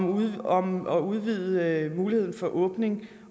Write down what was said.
og om at udvide muligheden for åbning